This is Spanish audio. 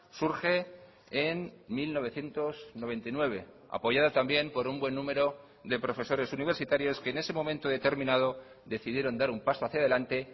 surge en mil novecientos noventa y nueve apoyada también por un buen número de profesores universitarios que en ese momento determinado decidieron dar un paso hacia adelante